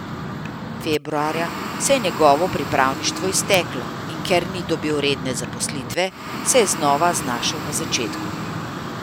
Februarja se je njegovo pripravništvo izteklo in ker ni dobil redne zaposlitve, se je znova znašel na začetku.